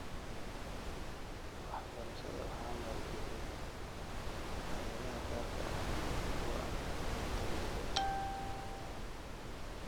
Waxbarashada waxaa maalgeliya hay'adaha gaarka ah iyo kuwa aan dawliga ahayn.